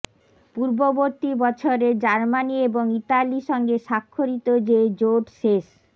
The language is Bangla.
পূর্ববর্তী বছরের জার্মানি এবং ইতালি সঙ্গে স্বাক্ষরিত যে জোট শেষ